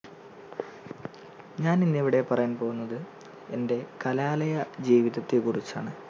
ഞാനിന്നിവിടെ പറയാൻ പോകുന്നത് എൻറെ കലാലയ ജീവിതത്തെ കുറിച്ചാണ്.